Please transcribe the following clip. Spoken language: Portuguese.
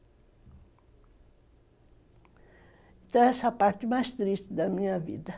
Então, essa é a parte mais triste da minha vida.